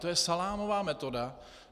To je salámová metoda.